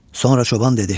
Sonra çoban dedi: